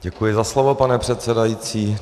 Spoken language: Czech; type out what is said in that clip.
Děkuji za slovo, pane předsedající.